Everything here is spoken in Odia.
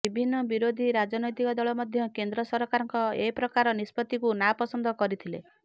ବିଭିନ୍ନ ବିରୋଧୀ ରାଜନୈତିକ ଦଳ ମଧ୍ୟ କେନ୍ଦ୍ର ସରକାରଙ୍କ ଏପ୍ରକାର ନିଷ୍ପତ୍ତିକୁ ନାପସନ୍ଦ କରିଥିଲେ